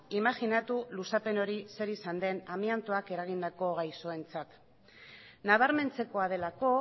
imajinatu luzapen hori zer izan den amiantoak eragindako gaixoentzat nabarmentzekoa delako